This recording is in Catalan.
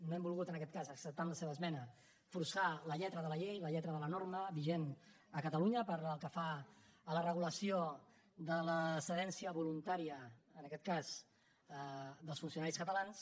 no hem volgut en aquest cas acceptar amb la seva esmena forçar la lletra de la llei la lletra de la norma vigent a catalunya pel que fa a la regulació de l’excedència voluntària en aquest cas dels funcionaris catalans